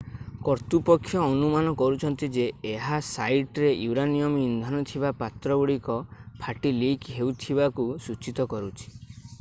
କର୍ତ୍ତୁପକ୍ଷ ଅନୁମାନ କରୁଛନ୍ତି ଯେ ଏହା ସାଇଟରେ ୟୁରାନିୟମ୍ ଇନ୍ଧନ ଥିବା ପାତ୍ରଗୁଡ଼ିକ ଫାଟି ଲିକ୍ ହେଉଥିବାକୁ ସୂଚିତ କରୁଛି